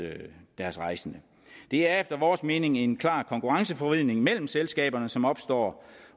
deres rejsende det er efter vores mening en klar konkurrenceforvridning mellem selskaberne som opstår